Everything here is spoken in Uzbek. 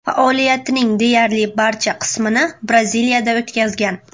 Faoliyatining deyarli barcha qismini Braziliyada o‘tkazgan.